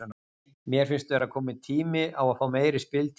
Mér finnst vera kominn tími á að fá meiri spiltíma